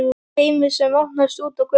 HEIMUR SEM OPNAST ÚT Á GÖTU